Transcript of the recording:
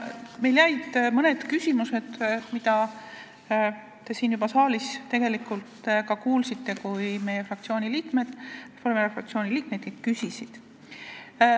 Meil jäid mõned küsimused, mida te siin juba tegelikult kuulsite, kui Reformierakonna fraktsiooni liikmed küsisid.